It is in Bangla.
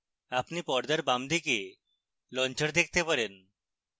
আপনি পর্দার বামদিকে launcher দেখতে পাবেন